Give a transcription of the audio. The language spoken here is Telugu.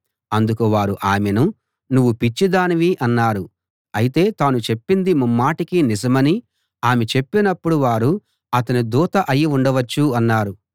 అందుకు వారు ఆమెను నువ్వు పిచ్చిదానివి అన్నారు అయితే తాను చెప్పింది ముమ్మాటికీ నిజమని ఆమె చెప్పినప్పుడు వారు అతని దూత అయి ఉండవచ్చు అన్నారు